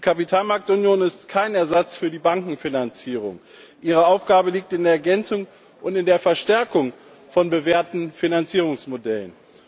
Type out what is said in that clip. Die Kapitalmarktunion ist kein Ersatz für die Bankenfinanzierung, ihre Aufgabe liegt in der Ergänzung und in der Verstärkung von bewährten Finanzierungsmodellen.